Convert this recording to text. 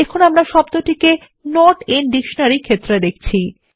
তাহলে আমরা শব্দটি নট আইএন ডিকশনারি ক্ষেত্রে দেখছি